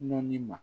Nɔnɔnin ma